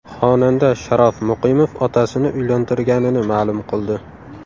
Xonanda Sharof Muqimov otasini uylantirganini ma’lum qildi.